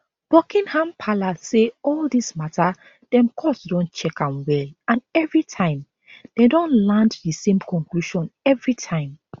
buckingham palace say all dis mata dem court don check am well and evritime dem don land di same conclusion evritime